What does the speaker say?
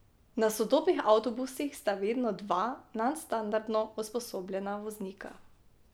Na sodobnih avtobusih sta vedno dva nadstandardno usposobljena voznika.